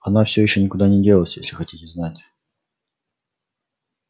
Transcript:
она всё ещё никуда не делась если хотите знать